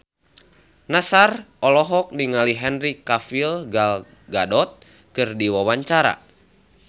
Nassar olohok ningali Henry Cavill Gal Gadot keur diwawancara